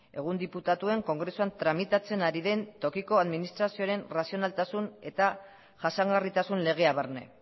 egun diputatuen kongresuan tramitatzen ari den tokiko administrazioaren arrazionaltasun eta jasangarritasun legea barne